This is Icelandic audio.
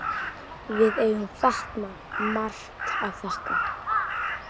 Við eigum Fat-Man margt að þakka.